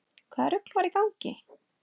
Hvaða rugl var í gangi?